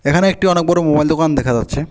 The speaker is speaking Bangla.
এখানে একটি অনেক বড় মোবাইল দোকান দেখা যাচ্ছে।